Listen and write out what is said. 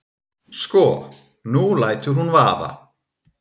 Sko. nú lætur hún vaða.